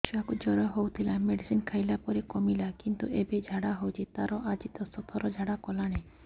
ଛୁଆ କୁ ଜର ହଉଥିଲା ମେଡିସିନ ଖାଇଲା ପରେ କମିଲା କିନ୍ତୁ ଏବେ ଝାଡା ହଉଚି ତାର ଆଜି ଦଶ ଥର ଝାଡା କଲାଣି